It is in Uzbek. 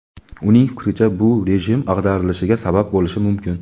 uning fikricha bu rejim ag‘darilishiga sabab bo‘lishi mumkin.